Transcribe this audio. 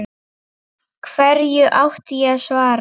Hverju átti ég að svara?